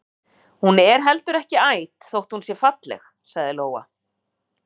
Hún er heldur ekki æt þótt hún sé falleg, sagði Lóa.